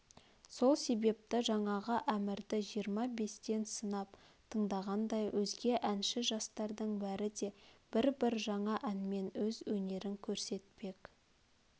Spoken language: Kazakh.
сол себепті жаңағы әмірді жиырма-бестен сынап тыңдағандай өзге әнші жастардың бәрі де бір-бір жаңа әнмен өз өнерн көрсетпек